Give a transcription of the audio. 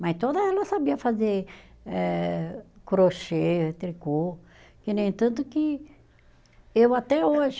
Mas toda ela sabia fazer eh crochê, tricô, que nem tanto que eu até hoje.